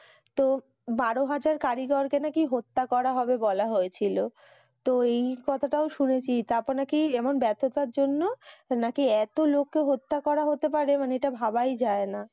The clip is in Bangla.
তো বারোহাজার কারিগরকে নাকি হত্যা করা হবে বলা হয়েছিল তো এই কথা টাও শুনেছি তারপর নাকি এমন ব্যার্থতার জন্য সে নাকি এত লোককে হত্যা করা হতে পারে মানে ইটা ভাবাই যায়না